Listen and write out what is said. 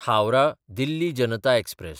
हावराह–दिल्ली Janata express